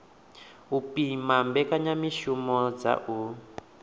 u pima mbekanyamishumo dza u